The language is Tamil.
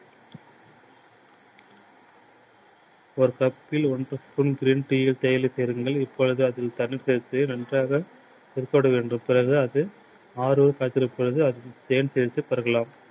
ஒரு cup பில் ஒரு spoon full green tea தேயிலையை சேருங்கள். இப்போது அது நன்றாக . பிறகு அது காய்ச்சலுக்கு பிறகு பருகலாம்.